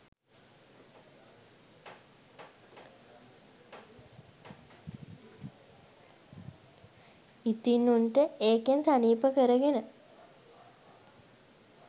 ඉතින් උන්ට ඒකෙන් සනීප කරගෙන